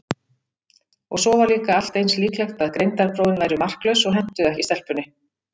Og svo var líka allt eins líklegt að greindarprófin væru marklaus og hentuðu ekki stelpunni.